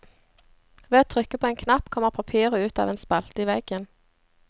Ved å trykke på en knapp kommer papiret ut av en spalte i veggen.